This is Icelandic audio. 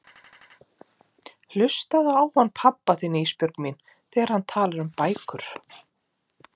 Hlustaðu á hann pabba þinn Ísbjörg mín þegar hann talar um bækur.